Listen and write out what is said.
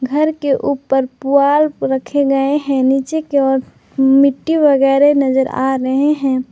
घर के ऊपर पुआल रखे गए हैं नीचे की ओर मिट्टी वगैरे नजर आ रहे हैं।